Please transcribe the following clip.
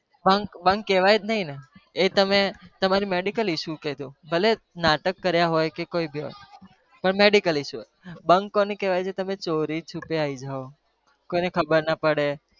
bunk bunk કહેવાય જ નહી ને એ તમે તમારી medical issue કેજો ભલે નાટક કર્યા હોય કે કોઈ भी હોય પણ medical issue હોય bunk કોનેકહેવાય જે તમે ચોરી છુપે આવી જાવ કોઈને ખબર ના પડે.